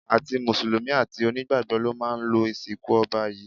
Àti mùsùlùmí, àti onígbàgbọ́ ló máa lọ ìsìnkú ọba yìí